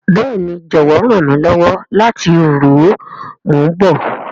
Béèni, jọwọ ran mi lọwọ lati ru o, mo n bọ.